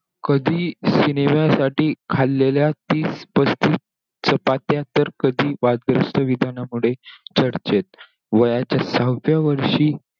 कधी cinema साठी खाल्लेल्या तीस पस्तीस चपात्या, तर कधी वादग्रस्त विधानामुळे चर्चेत. वयाच्या सहाव्या वर्षी,